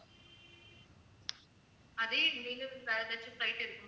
அதே வேற ஏதாச்சும் flight இருக்கு~